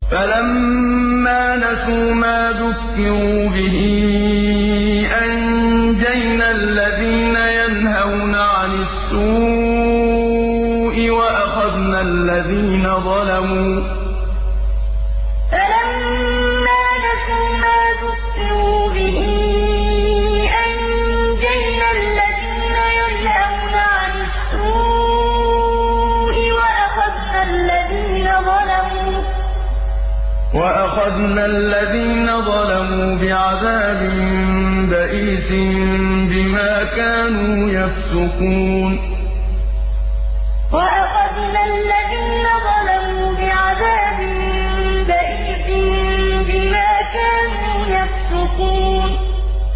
فَلَمَّا نَسُوا مَا ذُكِّرُوا بِهِ أَنجَيْنَا الَّذِينَ يَنْهَوْنَ عَنِ السُّوءِ وَأَخَذْنَا الَّذِينَ ظَلَمُوا بِعَذَابٍ بَئِيسٍ بِمَا كَانُوا يَفْسُقُونَ فَلَمَّا نَسُوا مَا ذُكِّرُوا بِهِ أَنجَيْنَا الَّذِينَ يَنْهَوْنَ عَنِ السُّوءِ وَأَخَذْنَا الَّذِينَ ظَلَمُوا بِعَذَابٍ بَئِيسٍ بِمَا كَانُوا يَفْسُقُونَ